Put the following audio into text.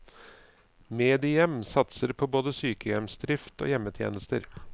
Medihjem satser både på sykehjemsdrift og hjemmetjenester.